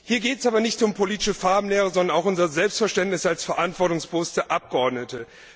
Hier geht es nicht um politische Farbenlehre, sondern auch um unser Selbstverständnis als verantwortungsbewusste Abgeordnete.